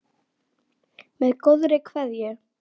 Með góðri kveðju